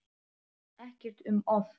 Ekkert um of.